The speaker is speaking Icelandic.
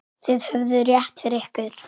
Þið höfðuð rétt fyrir ykkur.